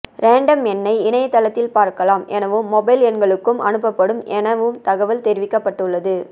random எண்ணை இணையதளத்தில் பார்க்கலாம் எனவும் மொபைல் எண்களுக்கும் அனுப்பப்படும் எனவும் தகவல் தெரிவிக்கப்பட்டுள்ளது